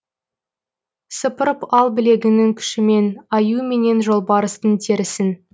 сыпырып ал білегіңнің күшімен аю менен жолбарыстың терісін